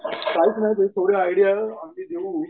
काहीच नाही तेवढी आयडिया आम्ही देऊ.